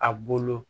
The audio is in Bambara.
A bolo